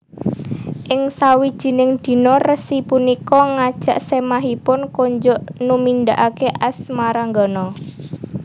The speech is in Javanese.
Ing sawijining dina resi punika ngajak semahipun konjuk numindakake asmaragama